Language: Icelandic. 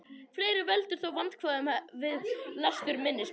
Fleira veldur þó vandkvæðum við lestur minnisbókanna.